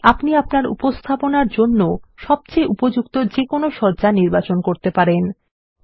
এইভাবেই আপনি আপনার উপস্থাপনার জন্য সবচেয়ে উপযুক্ত যেকোনো সজ্জা নির্বাচন করতে পারেন